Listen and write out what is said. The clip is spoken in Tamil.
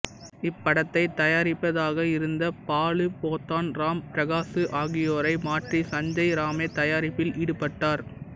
இப்படத்தை தயாரிப்பதாக இருந்த பாலு போத்தான் ராம் பிரகாசு ஆகியோரை மாற்றி சஞ்சய் ராமே தயாரிப்பில் ஈடுபட்டார்